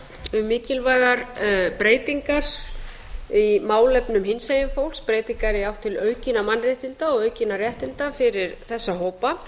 um mikilvægar breytingar í málefnum hinsegin fólks breytingar í átt til aukinna mannréttinda og aukinna réttinda fyrir þessa hópa